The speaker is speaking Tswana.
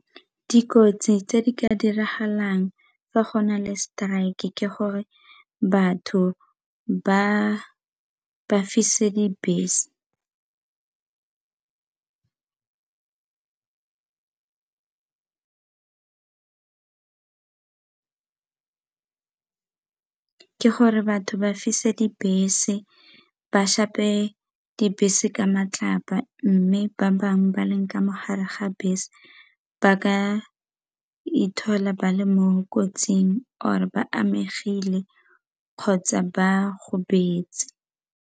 Dikotsi tse di ka diragalang fa gona le strike ke gore batho ba ba fisa dibese ke gore batho ba fisa dibese, ba dibese ka matlapa mme ba bangwe ba leng ka mo gare ga bese ba ka ithola ba le mo kotsing or ba amegile kgotsa ba gobetse.